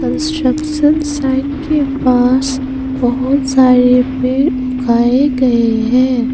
Construction site के पास बहुत सारे पेड़ उगाए गए हैं।